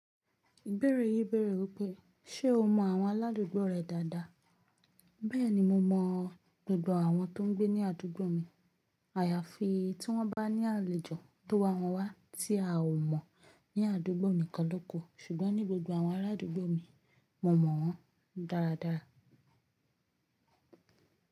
Ìbéèrè yí bèrè wípé ṣe'omọ àwọn aládùúgbò rẹ dáadáa. Bẹ́ẹ̀ni, mo mọ gbogbo àwọn tó ń gbé ní àdúgbò mi. Àyàfi tí wọ́n bá ní àlejò tó wa wọ́n wá tí a ò mọ̀ ní àdúgbò ni kanloku. Ṣùgbọ́n ní gbogbo àwọn arádùúgbò mi, mo mọ̀ wọ́n dáradára.